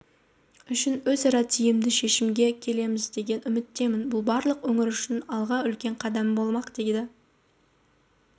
үшін өзара тиімді шешімге келеміздеген үміттемін бұл барлық өңір үшін алға үлкен қадам болмақ деді